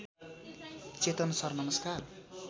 चेतन sir नमस्कार